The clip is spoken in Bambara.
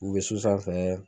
U be so sanfɛ .